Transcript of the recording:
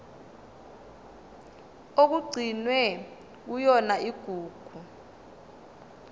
okugcinwe kuyona igugu